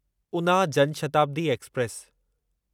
Una Jan Shatabdi express